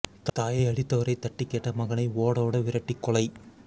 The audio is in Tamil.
தாயை அடித்தவரைத் தட்டிக் கேட்ட மகனை ஓட ஓட விரட்டி கொலை